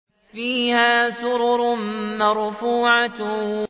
فِيهَا سُرُرٌ مَّرْفُوعَةٌ